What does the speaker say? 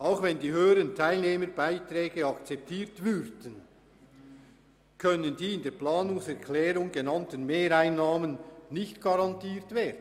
Auch wenn die höheren Teilnehmerbeiträge akzeptiert würden, können wir die in der Planungserklärung genannten Mehreinnahmen nicht garantieren.